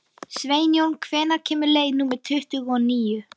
Sveinjón, hvenær kemur leið númer tuttugu og níu?